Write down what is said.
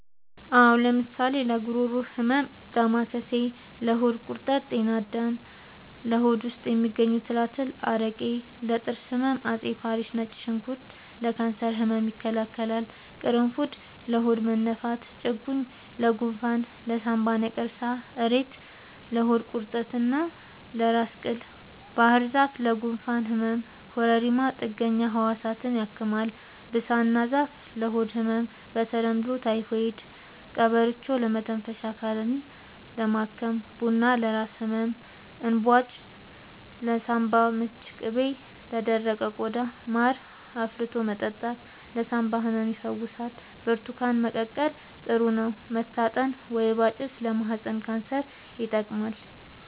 አዎ ለምሳሌ ለጉሮሮ ህመም ዳማከሴ ለሆድ ቁርጠት ጤና አዳም ለሆድ ውስጥ የሚገኙ ትላትል አረቄ ለጥርስ ህመም አፄ ፋሪስ ነጭ ሽንኩርት ለካንሰር ህመም ይከላከላል ቁሩፉድ ለሆድ መነፋት ጭቁኝ ለጎንፋን ለሳንባ ነቀርሳ እሬት ለሆድ ቁርጠት እና ለራስ ቅል ባህርዛፍ ለጉንፋን ህመም ኮረሪማ ጥገኛ ህዋሳትን ያክማል ብሳና ዛፍ ለሆድ ህመም በተለምዶ ታይፎድ ቀበርቿ ለመተንፈሻ አካልን ለማከም ቡና ለራስ ህመም እንባጮ ለሳንባ ምች ቅቤ ለደረቀ ቆዳ ማር አፍልቶ መጠጣት ለሳንባ ህመም ይፈውሳል ብርቱካን መቀቀል ጥሩ ነው መታጠን ወይባ ጭስ ለማህፀን ካንሰር ይጠቅማል